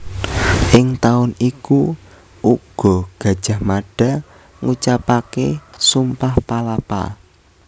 Ing taun iku uga Gajah Mada ngucapaké Sumpah Palapa